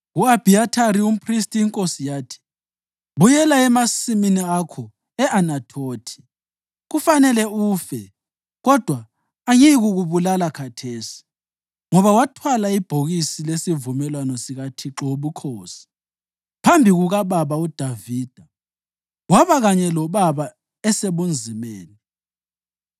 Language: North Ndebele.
Ku-Abhiyathari umphristi iNkosi yathi, “Buyela emasimini akho e-Anathothi. Kufanele ufe kodwa angiyikukubulala khathesi, ngoba wathwala ibhokisi lesivumelwano sikaThixo Wobukhosi phambi kukababa uDavida waba kanye lobaba esebunzimeni.”